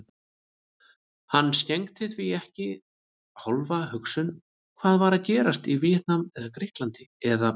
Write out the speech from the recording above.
Hann skenkti því ekki hálfa hugsun hvað var að gerast í Víetnam eða Grikklandi eða